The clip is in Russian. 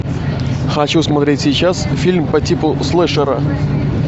хочу смотреть сейчас фильм по типу слэшера